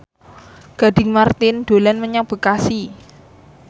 Gading Marten dolan menyang Bekasi